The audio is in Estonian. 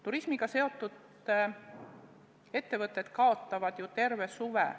Turismiga seotud ettevõtted kaotavad ju terve suve.